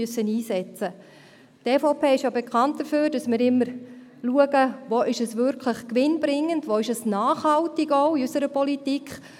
Die EVP ist ja bekannt dafür, dass wir immer schauen, wo etwas wirklich gewinnbringend und nachhaltig ist, auch in unserer Politik: